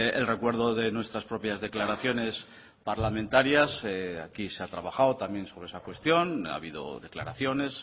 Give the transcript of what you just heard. el recuerdo de nuestras propias declaraciones parlamentarias aquí se ha trabajado también sobre esa cuestión ha habido declaraciones